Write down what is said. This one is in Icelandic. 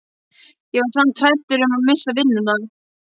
Ég var samt hræddur um að missa vinnuna.